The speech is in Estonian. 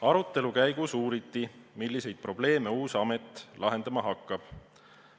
Arutelu käigus uuriti, milliseid probleeme uus amet lahendama hakkab.